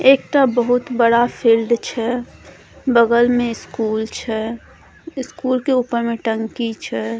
एकटा बहुत बड़ा फिल्ड छै बगल में स्कूल छै स्कूल के ऊपर में टंकी छै।